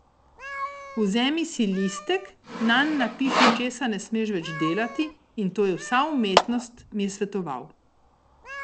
Vzemi si listek, nanj napiši, česa ne smeš več delati, in to je vsa umetnost, mi je svetoval.